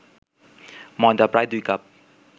ময়দা প্রায় ২ কাপ